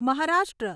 Maharashtra